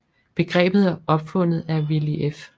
Begrebet er opfundet af Willy F